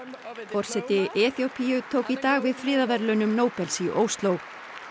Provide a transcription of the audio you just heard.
forseti Eþíópíu tók í dag við friðarverðlaunum Nóbels í Ósló